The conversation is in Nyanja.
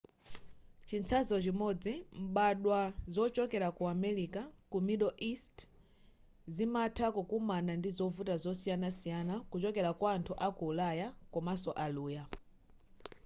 chitsanzo chimodzi mbadwa zochokera ku america ku middle east zimatha kukomana ndi zovuta zosiyana kuchokera kwa anthu aku ulaya komanso aluya